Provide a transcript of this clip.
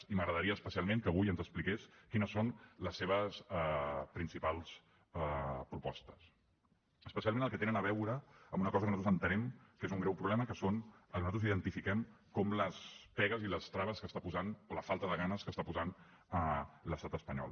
i m’agradaria especialment que avui ens expliqués quines són les seves principals propostes especialment les que tenen a veure amb una cosa que nosaltres entenem que és un greu problema que són el que nosaltres identifiquem com les pegues i les traves o la falta de ganes que està posant l’estat espanyol